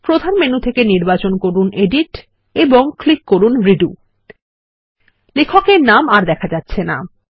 প্রধান মেনু থেকে নির্বাচন করুন এডিট এবং ক্লিক করুন রেডো লেখক এর নাম আর দেখা যাচ্ছে না160